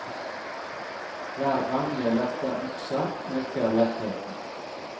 Hver gang jeg løfter øksa, øker lettheten.